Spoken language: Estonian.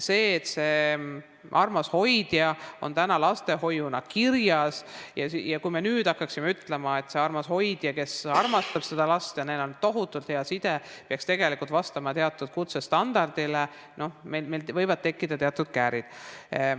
See armas hoidja on täna lastehoiu pakkujana kirjas ja kui me nüüd hakkaksime ütlema, et see armas hoidja, kes armastab seda last, kellega tal on tohutult hea side, peaks vastama teatud kutsestandardile, siis meil võivad tekkida teatud käärid.